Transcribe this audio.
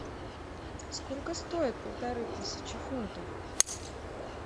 сколько стоит полторы тысячи фунтов